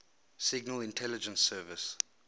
signal intelligence service